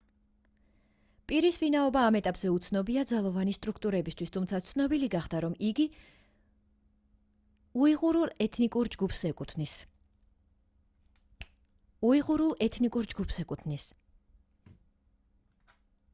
პირის ვინაობა ამ ეტაპზე უცნობია ძალოვანი სტრუქტურებისთვის თუმცა ცნობილი გახდა რომ იგი უიღურულ ეთნიკურ ჯგუფს ეკუთვნის